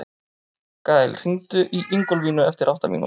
Gael, hringdu í Ingólfínu eftir átta mínútur.